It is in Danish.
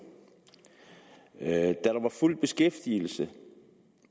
da der var fuld beskæftigelse